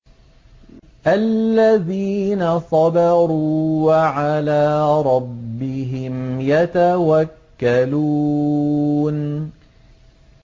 الَّذِينَ صَبَرُوا وَعَلَىٰ رَبِّهِمْ يَتَوَكَّلُونَ